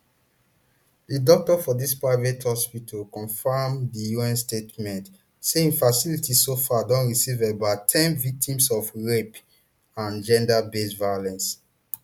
di doctor for dis private hospital confam di un statement say im facility so far don receive about ten victims of rape and genderbased violence